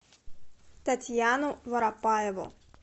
татьяну воропаеву